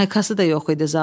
Maykası da yox idi zalımın.